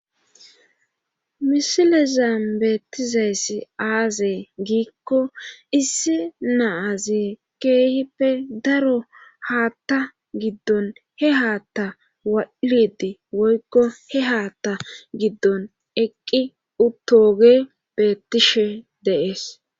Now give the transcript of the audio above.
misile zaambeettizayssi aazey giikko issi naaze keehippe daro haatta giddon he haata walidi woykko he haata giddon eqqi uttoge bettishe deees